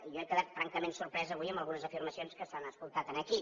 jo he quedat francament sorprès avui amb algunes afirmacions que s’han escoltat aquí